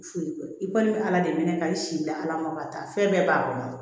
Foli kɔ i kɔni bɛ ala de wele ka i sigi la ala ma ka taa fɛn bɛɛ b'a kɔnɔ